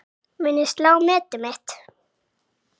Mun ég slá metið mitt?